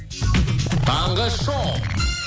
таңғы шоу